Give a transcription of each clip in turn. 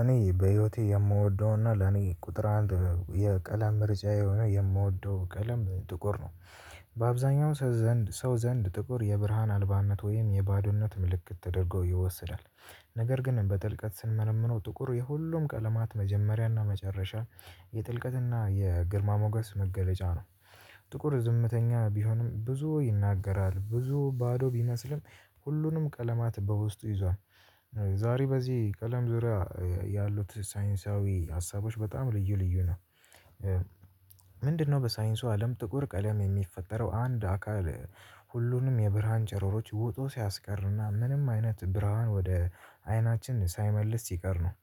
እኔ በህይወቴ የምወደውና ለኔ ቁጥር አንድ የቀለም መርጫ የሆነ የምወደው ቀለም ጥቁር ነው። በአብዛኛው ሰው ዘንድ ጥቁር የብርሃን አልባነት ወይም የባዶነት ምልክት ተደርጎ ይወስዳል። ነገር ግን በጥልቀት ስንመረምረው ጥቁር የሁሉም ቀለማት መጀመሪያና መጨረሻ የጥልቀትና የግርማ ሞገስ መገለጫ ነው። ጥቁር ዝምተኛ ቢሆንም ብዙ ይናገራል ብዙ ባዶ ቢመስልም ሁሉንም ቀለማት በውስጡ ይዟል። ዛሬ በዚህ ቀለም ዙሪያ ያሉት ሳይንሳዊ ሀሳቦች በጣም ልዩ ልዩ ነው። ምንድነው? በሳይንሱ አለም ጥቁር ቀለም የሚፈጠረው አንድ አካል ሁሉንም የብርሃን ጨረሮች ወጦ ሲያስቀርና ምንም አይነት ብርሃን ወደ አይናችን ሳይመልስ ሲቀር ነው።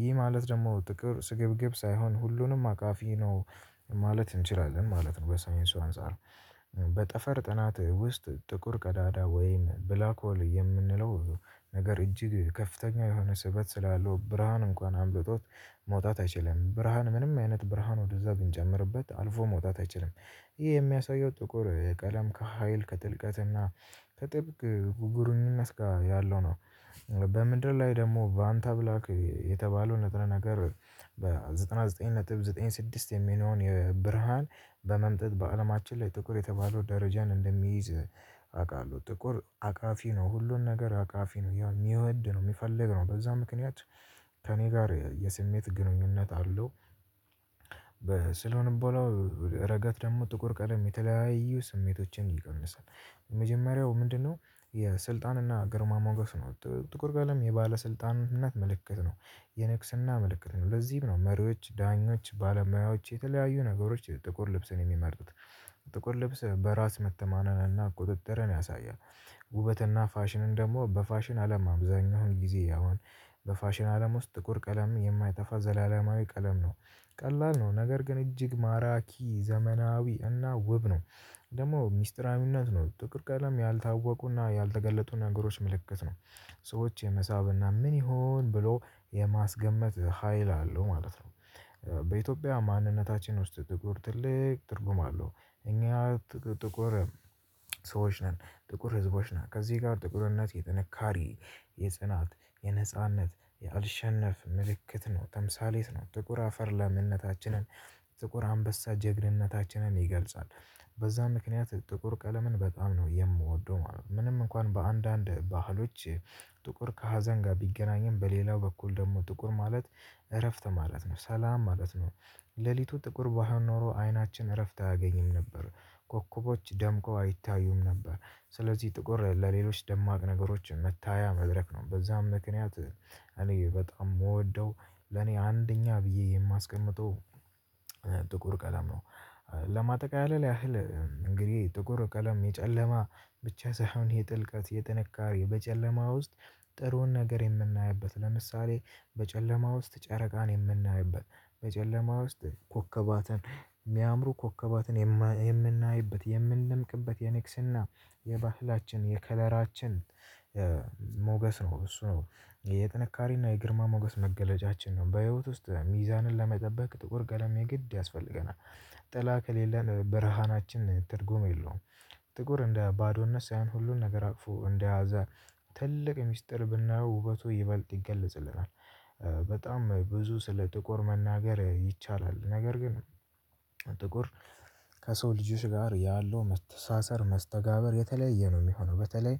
ይህ ማለት ደግሞ ጥቁር ስግብግብ ሳይሆን ሁሉንም አቃፊ ነው። ማለት እንችላለን ማለት ነው። በሳይንሱ አንፃር። በጠፈር ጥናት ውስጥ ጥቁር ቀዳዳ ወይን ብላክ ወል የምንለው ነገር እጅግ ከፍተኛ የሆነ ስበት ስላለው ብርሃን እንኳን አምልጦት መውጣት አይችልም። ብርሃን ምንም አይነት ብርሃን ወደዛ ብንጀምርበት አልፎ መውጣት አይችልም። ይህ የሚያሳየው ጥቁር ቀለም ከሀይል ከጥልቀትና ከጥብቅ ጉጉርነትጋ ያለው ነው። በምድር ላይ ደግሞ በአንተ ብላክ የተባለው ነጥብ ነገር በዘጠና ዘጠኝ ነጥብ ዘጠኝ ስድስት የሚለውን የብርሃን በመምጠጥ በአለማችን ላይ ጥቁር የተባለው ደረጃን እንደሚይዝ አውቃለሁ። ጥቁር አቃፊ ነው ሁሉን ነገር አቃፊ ነው ያው የሚወድ ነው የሚፈልግ ነው በዛ ምክንያት ከእኔ ጋር የስሜት ግንኙነት አለው። ስለሆነ በኋላ ረገት ደግሞ ጥቁር ቀለም የተለያየ ስሜቶችን ይቀንሳል። የመጀመሪያው ምንድነው? የስልጣንና ግርማ ሞገስ ነው። ጥቁር ቀለም የባለስልጣንነት ምልክት ነው። የንግስና ምልክት ነው ለዚህም ነው መሪዎች ዳኞች ባለሙያዎች የተለያዩ ነገሮች ጥቁር ልብስን የሚመርጡት። ጥቁር ልብስ በራስ መተማናንና ቁጥጥርን ያሳያል። ውበትና ፋሽንን ደግሞ በፋሽን አለም አብዛኛውን ጊዜ ያውም በፋሽን አለም ውስጥ ጥቁር ቀለም የማይጠፍዘላለማዊ ቀለም ነው። ቀላል ነው ነገር ግን እጅግ ማራኪ ዘመናዊ እና ውብ ነው። ደግሞ ሚስጥራዊነት ነው ጥቁር ቀለም ያልታወቁና ያልተገለጡ ነገሮች ምልክት ነው። ሰዎች የመሳብና ምን ይሁን ብሎ የማስገመት ሀይል አለው ማለት ነው። በኢትዮጵያ ማንነታችን ውስጥ ጥቁር ትልቅ ትርጉም አለው። እኛ ጥቁር ሰዎች ነን። ጥቁር ህዝቦች ነን ከዚህ ጋር ጥቁርነት የጥንካሬ የጽናት የነጻነት የአልሸነፍ ምልክት ነው ተምሳሌት ነው ጥቁር አፈር ለምንነታችንን ጥቁር አንበሳ ጀግንነታችንን ይገልጻል። በዛ ምክንያት ጥቁር ቀለምን በጣም ነው የምወደው ማለት ነው። ምንም እንኳን በአንዳንድ ባህሎች ጥቁር ከሀዘን ጋር ቢገናኝም በሌላው በኩል ደግሞ ጥቁር ማለት እረፍት ማለት ነው። ሰላም ማለት ነው። ሌሊቱ ጥቁር ባይሆኖሮ አይናችን እረፍት አያገኝም ነበር። ኮከቦች ደምቆ አይታዩም ነበር። ስለዚህ ጥቁር ለሌሎች ደማቅ ነገሮች መታያ መድረክ ነው በዛም ምክንያት እኔ በጣም የምወደው ለኔ አንደኛ ብዬ የማስቀምጠው ጥቁር ቀለም ነው። ለማጠቃለል ያህል እንግዲህ ጥቁር ቀለም የጨለማ ብቻ ሳይሆን የጥልቀት የጥንካሬ በጨለማ ውስጥ ጥሩን ነገር የምናይበት ለምሳሌ በጨለማ ውስጥ ጨረቃን የምናይበት በጨለማ ውስጥ ኮከባትን የሚያምሩ ኮከባትን የምናይበት የምንደምቅበት የንግስና የባህላችን የከለራችን ሞገስ ነው እሱ ነው። የጥንካሬና የግርማ ሞገስ መገለጫችን ነው። በህይወት ውስጥ ሚዛንን ለመጠበቅ ጥቁር ቀለሜ የግድ ያስፈልገናል። ጥላ ከሌለን ብርሃናችን ትርጉም የለውም። ጥቁር እንደ ባዶነት ሳይሆን ሁሉን ነገር አቅፎ እንደያዘ ትልቅ ሚስጥር ብናየው ውበቱ ይበልጥ ይገለጽልናል። በጣም ብዙ ስለ ጥቆር መናገር ይቻላል። ነገር ግን ጥቁር ከሰው ልጆች ጋር ያለው መተሳሰር መስተጋብር የተለያየ ነው የሚሆነው በተለይ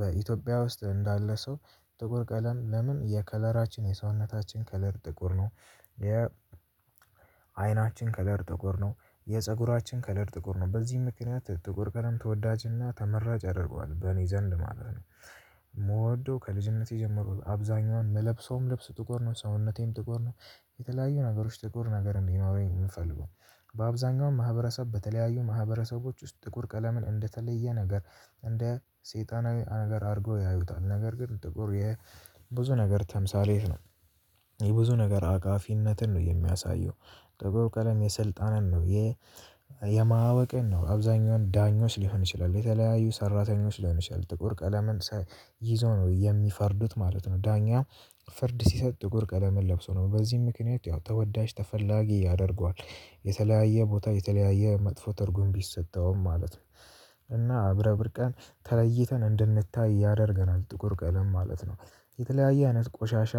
በኢትዮጵያ ውስጥ እንዳለ ሰው ጥቁር ቀለም ለምን የከለራችን የሰውነታችን ከለር ጥቁር ነው። የ አይናችን ከለር ጥቁር ነው። የፀጉራችን ከለር ጥቁር ነው በዚህም ምክንያት ጥቁር ቀደም ተወዳጅና ተመራጭ ያደርገዋል በእኔ ዘንድ ማለት ነው። የምወደው ከልጅነቴ ጀመሮ አብዛኛዋን ምለብሰውም ልብስ ጥቁር ነው ሰውነቴም ጥቁር ነው። የተለያዩ ነገሮች ጥቁር ነገር እንዲኖረኝ የምፈልገው በአብዛኛው ማህበረሰብ በተለያዩ ማህበረሰቦች ውስጥ ጥቁር ቀለምን እንደተለየ ነገር እንደ ሰይጣናዊ ነገር አድርጎ ያዩታል ነገር ግን ጥቁር የብዙ ነገር ተምሳሌት ነው። ነገር አጋፊነትን ነው የሚያሳየው። ጥቁር ቀለም የስልጣንን ነው የ የማዕወቅን ነው አብዛኛውን ዳኞች ሊሆን ይችላል የተለያዩ ሰራተኞች ሊሆን ይችላል ጥቁር ቀለምን ይዞ ነው የሚፈርዱት ማለት ነው። ዳኛ ፍርድ ሲሰጥ ጥቁር ቀለምን ለብሶ ነው በዚህም ምክንያት ያው ተወዳጅ ተፈላጊ። የተለያየ ቦታ የተለያየ መጥፎ ትርጉም ቢሰጠውም ማለት ነው። እና አብረ ብርቀን ተለይተን እንድንታይ ያደርገናል ጥቁር ቀለም ማለት ነው። የተለያየ አይነት ቆሻሻ